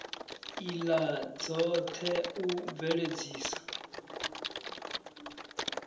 ila dzot he u bveledzisa